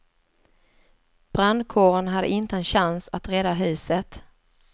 Brandkåren hade inte en chans att rädda huset.